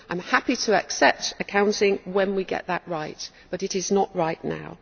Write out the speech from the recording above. I am happy to accept accounting when we get it right, but it is not right now.